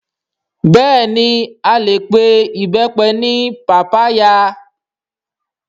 Bẹ́ẹ̀ni a lè pe Ìbẹ́pẹ ní pàpáyà